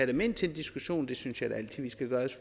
dem ind til en diskussion hvis